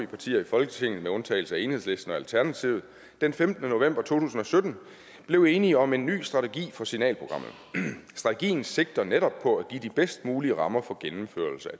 partier i folketinget med undtagelse af enhedslisten og alternativet den femtende november to tusind og sytten blev enig om en ny strategi for signalprogrammet strategien sigter netop på at give de bedst mulige rammer for gennemførelse